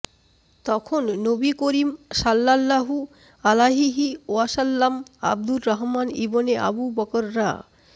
তখন নবী করীম সাল্লাল্লাহু আলাইহি ওয়াসাল্লাম আবদুর রাহমান ইবনে আবু বকর রা